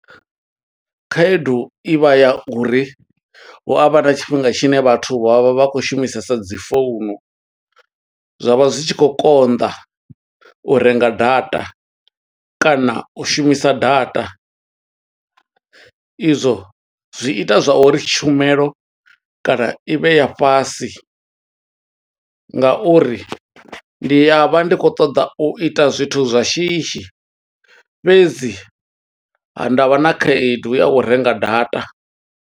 Khaedu i vha ya uri, hu avha na tshifhinga tshine vhathu vha vha vha khou shumisesa dzi founu, zwa vha zwi tshi khou konḓa u renga data, kana u shumisa data. I zwo zwi ita zwa uri tshumelo kana i vhe ya fhasi, nga uri ndi a vha ndi khou ṱoḓa u ita zwithu zwa shishi. Fhedzi ha, nda vha na khaedu ya u renga data.